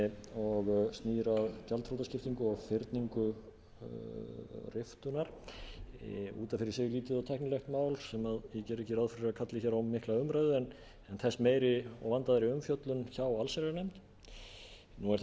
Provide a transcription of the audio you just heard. og snýr að gjaldþrotaskiptum og fyrningu riftunar út af fyrir sig lítið og tæknilegt mál sem ég gerði ekki ráð fyrir að kalli á mikla umræðu en þess meiri og vandaðri umfjöllun hjá allsherjarnefnd nú er það